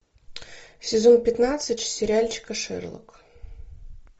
сезон пятнадцать сериальчика шерлок